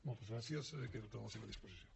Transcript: moltes gràcies i quedo a la seva disposició